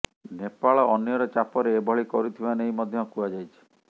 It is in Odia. ନେପାଳ ଅନ୍ୟର ଚାପରେ ଏଭଳି କରୁଥିବା ନେଇ ମଧ୍ୟ କୁହାଯାଇଛି